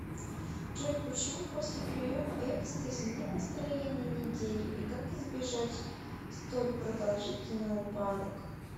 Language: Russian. джой почему после приема экстази нет настроения неделю и как избежать столь продолжительный упадок